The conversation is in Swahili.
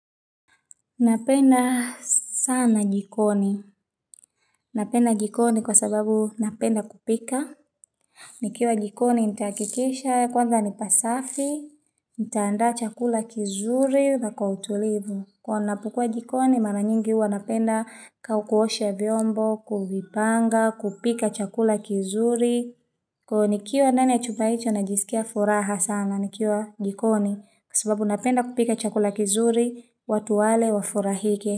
Napenda sana jikoni. Napenda jikoni kwa sababu napenda kupika. Nikiwa jikoni nitahakikisha kwanza ni pasafi, nitaandaa chakula kizuri na kwa utulivu. Huwa napokua jikoni mara nyingi huwa napenda ka kuosha vyombo, kuvipanga, kupika chakula kizuri. Kwa hiyo nikiwa ndani ya chumba hicho najisikia furaha sana nikiwa jikoni kwa sababu napenda kupika chakula kizuri watu wale wa furahike.